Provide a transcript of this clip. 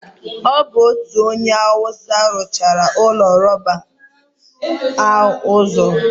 ọ bụ otu onye awụsa ruchiri ụlọ rọba a ụzọ.